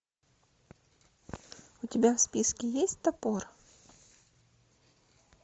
у тебя в списке есть топор